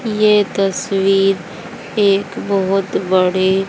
ये तस्वीर एक बहोत बड़े --